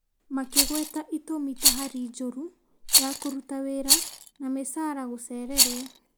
makĩgweta itũmi ta hari njũru ya kũruta wĩra na mĩcaara gũcererwo.